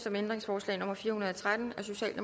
om ændringsforslag nummer fire hundrede og tretten